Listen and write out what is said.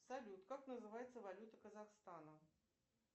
салют как называется валюта казахстана